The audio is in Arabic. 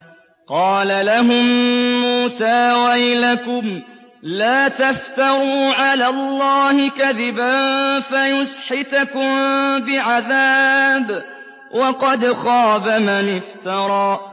قَالَ لَهُم مُّوسَىٰ وَيْلَكُمْ لَا تَفْتَرُوا عَلَى اللَّهِ كَذِبًا فَيُسْحِتَكُم بِعَذَابٍ ۖ وَقَدْ خَابَ مَنِ افْتَرَىٰ